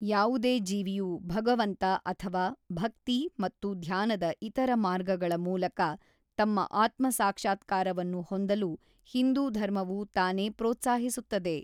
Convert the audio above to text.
ಯಾವುದೇ ಜೀವಿಯು ಭಗವಂತ ಅಥವಾ ಭಕ್ತಿ ಮತ್ತು ಧ್ಯಾನದ ಇತರ ಮಾರ್ಗಗಳ ಮೂಲಕ ತಮ್ಮ ಆತ್ಮ-ಸಾಕ್ಷಾತ್ಕಾರವನ್ನು ಹೊಂದಲು ಹಿಂದೂ ಧರ್ಮವು ತಾನೇ ಪ್ರೋತ್ಸಾಹಿಸುತ್ತದೆ.